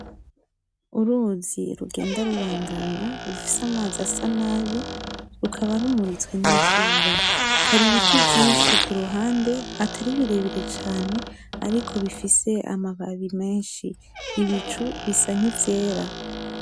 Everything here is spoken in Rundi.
Uruzi rugenda rubandanya rufise amazi asa nabi, rukaba rumuritswe n'izuba. Hari ibiti vyinshi kuruhande atari birebire cane ariko bifise amababi menshi, ibicu bisa nk'ivyera.